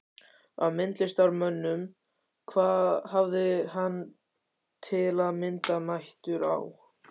Af myndlistarmönnum hafði hann, til að mynda, mætur á